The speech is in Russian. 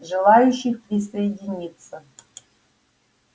желающих присоединиться